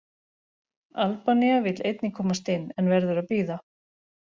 Albanía vill einnig komast inn, en verður að bíða.